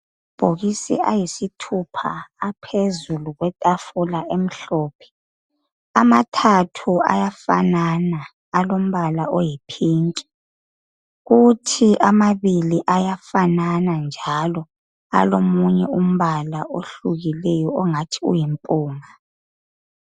Amabhokisi ayisithupha aphezulu kwetafula emhlophe. Amathathu ayafanana alombala oyipink kuthi amabili ayafanana njalo alomunye umbala ohlukileyo ongathi uyimpunga